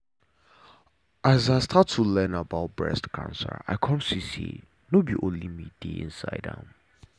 as i start to learn about breast cancer i come see say no b only me de inside am